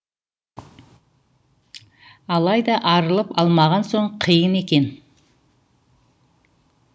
алайда арылып алмаған соң қиын екен